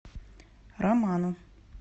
роману